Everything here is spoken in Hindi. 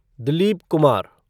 दिलीप कुमार